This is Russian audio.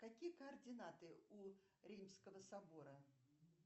какие координаты у римского собора